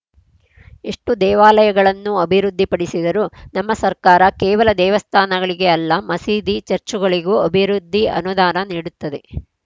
ಎಷ್ಟುದೇವಾಲಯಗಳನ್ನು ಅಭಿವೃದ್ಧಿಪಡಿಸಿದರು ನಮ್ಮ ಸರ್ಕಾರ ಕೇವಲ ದೇವಸ್ಥಾನಗಳಿಗೆ ಅಲ್ಲ ಮಸೀದಿ ಚರ್ಚುಗಳಿಗೂ ಅಭಿವೃದ್ಧಿಗೆ ಅನುದಾನ ನೀಡುತ್ತದೆ